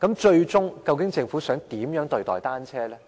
最終，究竟政府想怎樣對待單車呢？